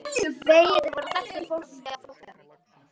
Vegirnir voru þaktir fólki á flótta.